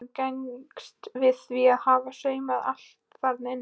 Þórunn gengst við því að hafa saumað allt þarna inni.